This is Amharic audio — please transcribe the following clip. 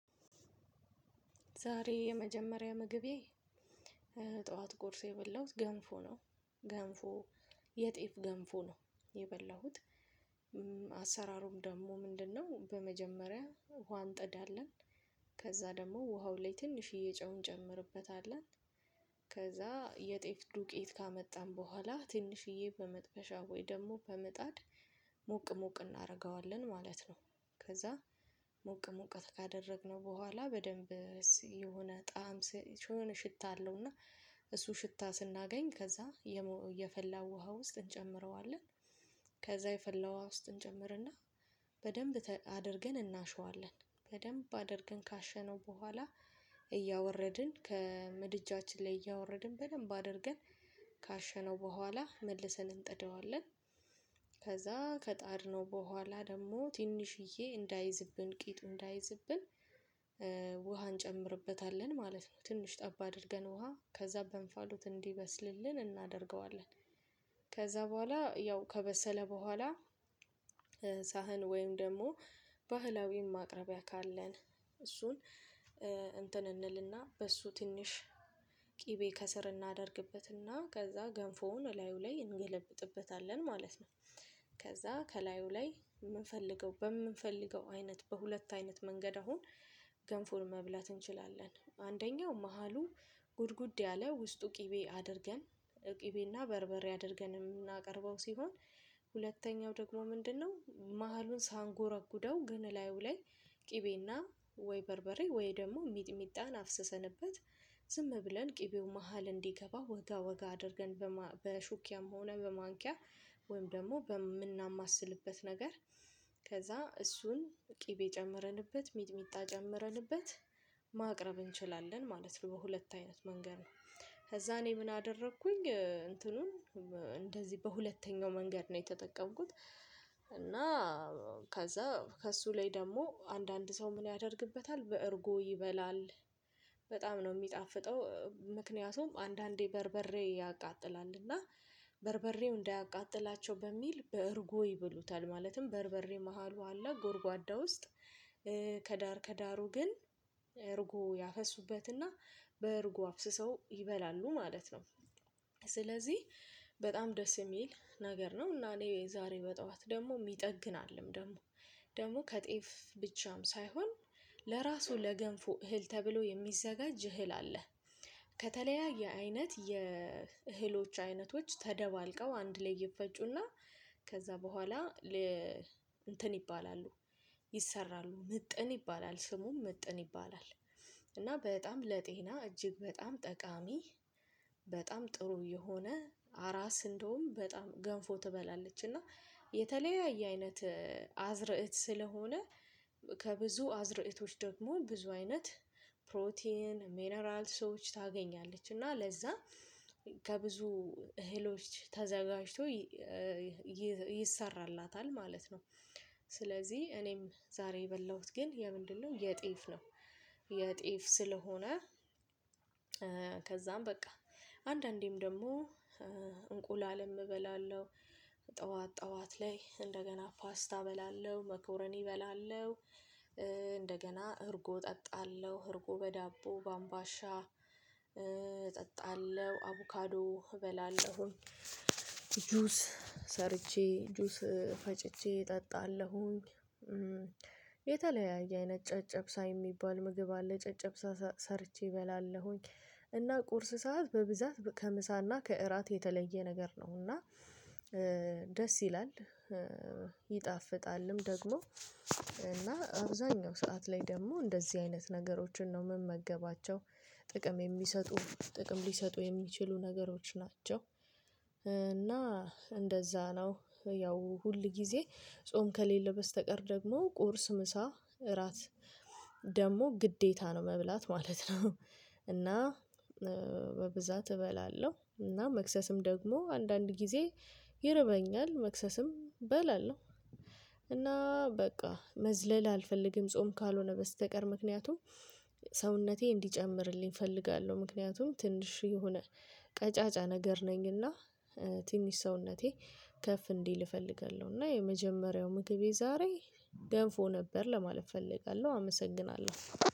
ዛሬ የመጀመሪያ ምግቤ ጠዋት ቁርስ የበላሁት ገንፎ ነው። ገንፎ የጤፍ ገንፎ ነው የበላሁት አሰራሩም ደግሞ ምንድነው? በመጀመሪያ ውሃ እንጥዳለን ከዛ ደግሞ ውሃው ላይ ትንሽ ጨው እንጨምርበታለን። ከዛ የጤፍ ዱቄት ካመጣን በኋላ ትንሽዬ በመጥበሻ ወይ ደግሞ በምጣድ ሞቅ ሞቅ እናደርገዋለን ማለት ነው። ከዛ ሞቅ ሞቅ ካደረግነው በኋላ በደንብ የሆነ ጣዕም ሽታ አለው። እና እሱ ሽታ ስናገኝ ከዛ የፈላው ውሃ ውስጥ እንጨምረዋለን። ከዛ የፈላው ውሃ ውስጥ እንጨምርና በደንብ አድርገን እናሸዋለን። በደንብ አድርገን ካሸነው በኋላ እያወረድን ከምድጃችን ላይ እያወረድን በደንብ አድርገን ካሸነው በኋላ መልሰን እንጥደዋለን። ከዛ ከጣድነው በኋላ ደግሞ ትንሽዬ እንዳይዝብን ቂጡ እንዳይዝብን ውሃ እንጨምርበታለን ማለት ነው። ትንሽ ጠብ አድርገን ውሃ ከዛ በእንፋሎት እንዲበስልልን እናደርገዋለን። ከዛ በኋላ ያው ከበሰለ በኋላ ሳህን ወይም ደግሞ ባህላዊን ማቅረቢያ ካለን እሱን እንትን እንልና በሱ ትንሽ ቅቤ ከስር እናደርግበትና ከዛ ገንፎውን ላዩ ላይ እንገለብጥበታለን ማለት ነው። ከዛ ከላዩ ላይ የምንፈልገው በምንፈልገው አይነት በሁለት አይነት መንገድ አሁን ገንፎን መብላት እንችላለን። አንደኛው መሃሉ ጉድጉድ ያለ ውስጡ ቅቤ አድርገን ቅቤና በርበሬ አድርገን የምናቀርበው ሲሆን ሁለተኛው ደግሞ ምንድነው? መሃሉን ሳንጎረጉደው ግን እላዩ ላይ ቅቤና ወይ በርበሬ ወይ ደግሞ ሚጥሚጣን አፍስሰንበት ዝም ብለን ቅቤው መሃል እንዲገባ ወጋ ወጋ አድርገን በሹክያም ሆነ በማንኪያ ወይም ደግሞ በምናማስልበት ነገር ከዛ እሱን ቅቤ ጨምረንበት ሚጥሚጣ ጨምረንበት ማቅረብ ነው እንችላለን ማለት ነው በሁለት አይነት መንገድ ነው። ከዛ እኔ ምን አደረኩኝ እንትኑን እንደዚህ በሁለተኛው መንገድ ነው የተጠቀምኩት። እና ከዛ ከእሱ ላይ ደግሞ አንዳንድ ሰው ምን ያደርግበታል በእርጎ ይበላል። በጣም ነው የሚጣፍጠው ምክንያቱም አንዳንዴ በርበሬ ያቃጥላልና በርበሬው እንዳያቃጥላቸው በሚል በእርጎ ይብሉታል። ማለትም በርበሬ መሃሉ አላ ጎርጓዳ ውስጥ ከዳር ከዳሩ ግን እርጎ ያፈሱበትና በእርጎ አፍስሰው ይበላሉ ማለት ነው። ስለዚህ በጣም ደስ የሚል ነገር ነው። እና እኔ ዛሬ በጠዋት ደግሞ ይጠግናልም ደግሞ ደግሞ ከጤፍ ብቻም ሳይሆን ለራሱ ለገንፎ እህል ተብሎ የሚዘጋጅ እህል አለ። ከተለያየ አይነት የእህሎች አይነቶች ተደባልቀው አንድ ላይ ይፈጩና ከዛ በኋላ ለ እንትን ይባላሉ። ይሰራሉ ምጥን ይባላል ስሙም ምጥን ይባላል። እና በጣም ለጤና እጅግ በጣም ጠቃሚ በጣም ጥሩ የሆነ አራስ እንደውም በጣም ገንፎ ትበላለች። እና የተለያየ አይነት አዝርዕት ስለሆነ ከብዙ አዝርእቶች ደግሞ ብዙ አይነት ፕሮቲን ሚነራል ሰዎች ታገኛለች እና ለዛ ከብዙ እህሎች ተዘጋጅቶ ይሰራላታል ማለት ነው። ስለዚህ እኔም ዛሬ የበላሁት ግን የምንድነው የጤፍ ነው። የጤፍ ስለሆነ ከዛም በቃ አንዳንዴም ደግሞ እንቁላልም እበላለሁ። ጠዋት ጠዋት ላይ እንደገና ፓስታ እበላለሁ መኮረኒ እበላለሁ። እንደገና እርጎ እጠጣለሁ እርጎ በዳቦ በአምባሻ እጠጣለሁ አቮካዶ እበላለሁ። ጁስ ሰርቼ ጁስ ፈጭቼ እጠጣለሁኝ። የተለያየ አይነት ጨጨብሳ የሚባል ምግብ አለ ጨጨብሳ ሰርቼ እበላለሁኝ። እና ቁርስ ሰዓት በብዛት ከምሳና ከእራት የተለየ ነገር ነው እና ደስ ይላል። ይጣፍጣልም ደግሞ እና አብዛኛው ሰዓት ላይ ደግሞ እንደዚህ አይነት ነገሮችን ነው የምመገባቸው። ጥቅም የሚሰጡ ጥቅም ሊሰጡ የሚችሉ ነገሮች ናቸው። እና እንደዛ ነው ያው ሁል ጊዜ ጾም ከሌለ በስተቀር ደግሞ ቁርስ ምሳ እራት ደግሞ ግዴታ ነው መብላት ማለት ነው። እና በብዛት እበላለሁ እና መክሰስም ደግሞ አንዳንድ ጊዜ ይርበኛል መክሰስም በላለው እና በቃ መዝለል አልፈልግም። ጾም ካልሆነ በስተቀር ምክንያቱም ሰውነቴ እንዲጨምርልኝ እፈልጋለሁ ምክንያቱም ትንሽ የሆነ ቀጫጫ ነገር ነኝና ትንሽ ሰውነቴ ከፍ እንዲል እፈልጋለሁ። እና የመጀመሪያው ምግቤ ዛሬ ገንፎ ነበር ለማለት እፈልጋለሁ አመሰግናለሁ።